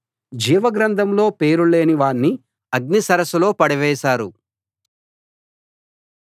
జీవ గ్రంథంలో పేరు లేని వాణ్ణి అగ్ని సరస్సులో పడవేశారు